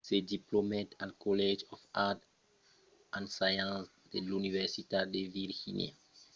se diplomèt al college of arts & sciences de l’universitat de virgínia en 1950 e foguèt un donaire significatiu a aquela institucion